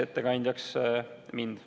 Aitäh!